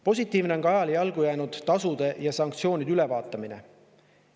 Positiivne on ka ajale jalgu jäänud tasude ja sanktsioonide ülevaatamine.